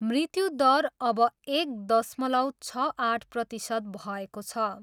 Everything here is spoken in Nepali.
मृत्यु दर अब एक दशमलव छ आठ प्रतिशत भएको छ।